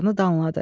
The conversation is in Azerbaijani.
danladı.